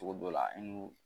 Togo dɔ la i n'u